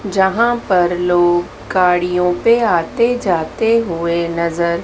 जहां पर लोग गाड़ियों पे आते जाते हुए नजर--